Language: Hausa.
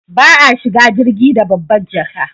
Ba a shiga jirgi da babbar jaka